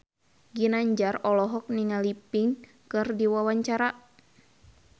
Ginanjar olohok ningali Pink keur diwawancara